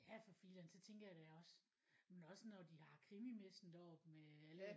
Ja for filan så tænker jeg det er også men også når de har krimimessen deroppe også med alle